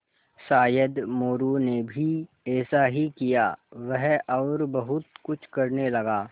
शायद मोरू ने भी ऐसा ही किया वह और बहुत कुछ करने लगा